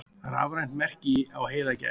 Rafrænt merki á heiðagæs.